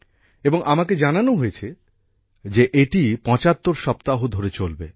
এবং আমাকে জানানো হয়েছে যে এটি ৭৫ সপ্তাহ ধরে চলবে